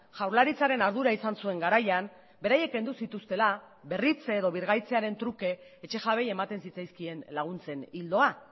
jaurlaritzaren ardura izan zuen garaian beraiek kendu zituztela berritze edo birgaitzearen truke etxe jabeei ematen zitzaizkien laguntzen ildoa